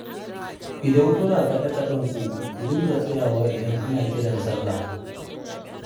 Idan kuna kaɗe-kaɗenku, ku dinga tsayawa idan ana kiran sallah